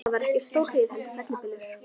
Það var ekki stórhríð heldur fellibylur.